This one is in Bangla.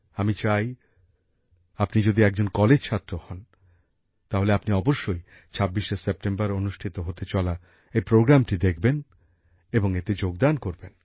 আমি চাই আপনি যদি একজন কলেজ ছাত্র হন তাহলে আপনি অবশ্যই ২৬শে সেপ্টেম্বর অনুষ্ঠিত হতে চলা এই অনুষ্ঠানটি দেখবেন এবং এতে যোগদান করবেন